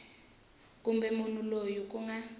kumbe munhu loyi ku nga